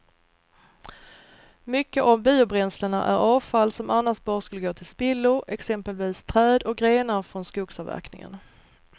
Mycket av biobränslena är avfall som annars bara skulle gå till spillo, exempelvis träd och grenar från skogsavverkningen.